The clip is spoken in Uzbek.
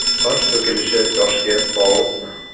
Soch to‘kilishi yoshga bog‘liqmi?.